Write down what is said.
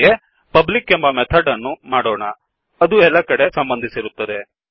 ಹಾಗೆಯೇpublic ಎಂಬಮೆಥಡ್ ಅನ್ನೂ ಮಾಡೋಣ ಅದು ಎಲ್ಲಾ ಕಡೆ ಸಂಬಂಧಿಸಿರುತ್ತದೆ